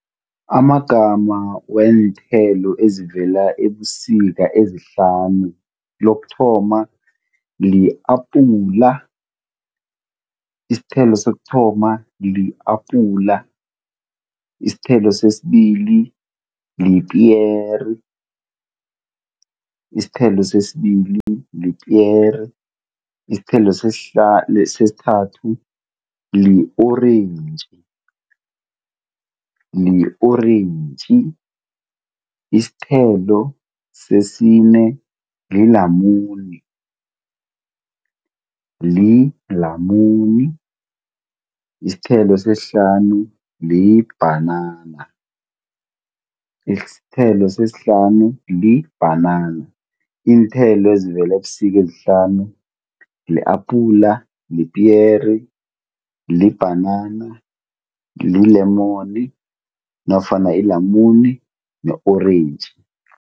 Amagama weenthelo ezivela ebusika ezihlanu. Lokuthoma li-apula. Isithelo sokuthoma li-apula, isithelo sesibili lipiyeri. Isithelo sesibili lipiyeri. Isithelo sesithathu li-orentji. Li-orentji. Isithelo sesine lilamuni. Lilamuni. Isithelo sesihlanu libhanana. Isithelo sesihlanu libhanana. Iinthelo ezivela ebusika ezihlanu li-apula, lipiyeri, libhanana, lilemoni nofana ilamune ne-orentji.